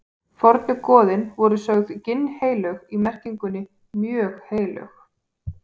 Fornu goðin voru sögð ginnheilög í merkingunni mjög heilög.